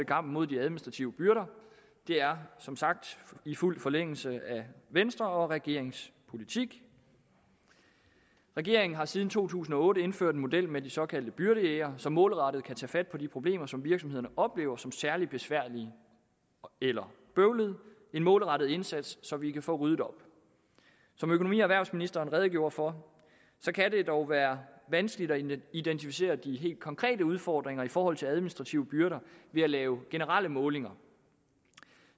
kampen mod de administrative byrder det er som sagt i fuld forlængelse af venstre og regeringens politik regeringen har siden to tusind og otte indført en model med de såkaldte byrdejægere som målrettet kan tage fat på de problemer som virksomhederne oplever som særligt besværlige eller bøvlede en målrettet indsats så vi kan få ryddet op som økonomi og erhvervsministeren redegjorde for kan det dog være vanskeligt at identificere de helt konkrete udfordringer i forhold til administrative byrder ved at lave generelle målinger